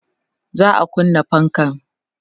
za'a kunna fankan